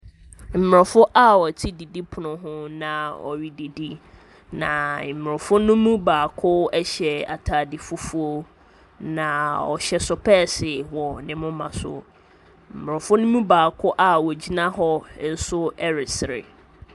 Aborɔfo a wɔte didipono ho na wɔredidi, na aborɔfo no mu baako hyɛ atade fufuo, na wɔhyɛ sopɛɛse wɔ ne moma so. Aborɔfo no mu baako a ɔgyina hɔ nso resere.